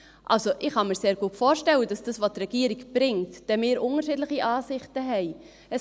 Also: Ich kann mir sehr gut vorstellen, dass wir über das, was die Regierung bringt, unterschiedliche Ansichten haben.